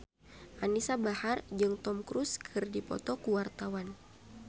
Anisa Bahar jeung Tom Cruise keur dipoto ku wartawan